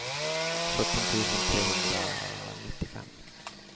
sjutton tusen trehundranittiofem